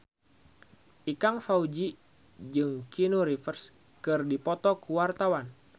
Ikang Fawzi jeung Keanu Reeves keur dipoto ku wartawan